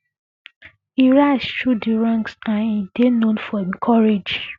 e rise through di ranks and e dey known for im courage um